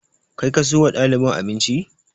Kai ka siyo wa ɗalibin abinci?